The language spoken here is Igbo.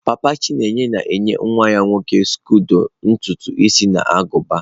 papa chineye na-enye nwa ya nwoke skodo ntutu isi na agụba.